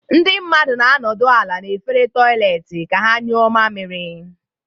Ndị mmadụ na-anọdụ ala n'efere toịletị ka ha nyụọ mamiri.